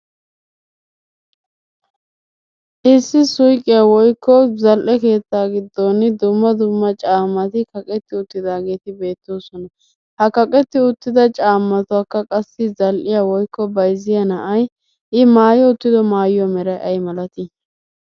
Issi suyiqiya woyikko zal"e keetta giddon dumma dumma caammati kaqetti uttidaageeti beettoosona. Ha kaqetti uttida caamatakka qassi zal"iya woyikko bayizziya na"ay i maayi uttido maayuwa meray ayimalati